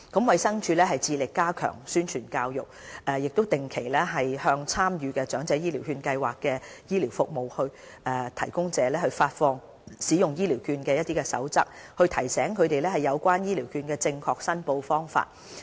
衞生署一直致力加強宣傳教育，亦定期向參與長者醫療券計劃的醫療服務提供者發放使用醫療券的守則，提醒他們有關醫療券的正確申報方法。